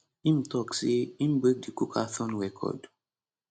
im tok say im break di cookathon record